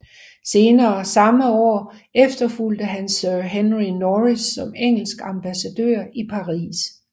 Senere samme år efterfulgte han Sir Henry Norris som engelsk ambassadør i Paris